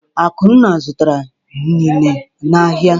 Akunna zụtara inine n’ahịa.